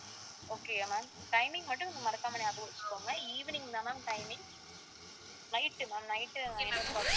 okay யா ma'am timing மட்டும் மறக்காம ஞாபகம் வச்சுக்கோங்க evening தான் ma'am timing night uh ma'am night eleven o'clock